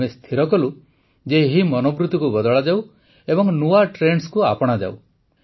ଆମେ ସ୍ଥିର କଲୁ ଯେ ଏହି ମନୋବୃତିକୁ ବଦଳାଯାଉ ଏବଂ ନୂଆ ଟ୍ରେଣ୍ଡସକୁ ଆପଣାଯାଉ